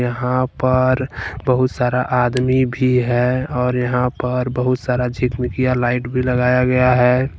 यहां पर बहुत सारा आदमी भी है और यहां पर बहुत सारा चिटमिटिया लाइट भी लगाया गया है।